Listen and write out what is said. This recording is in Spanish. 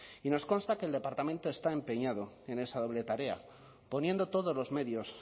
y nos consta que el departamento está empeñado en esa doble tarea poniendo todos los medios